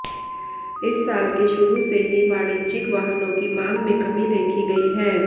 इस साल के शुरू से ही वाणिज्यिक वाहनों की मांग में कमी देखी गई है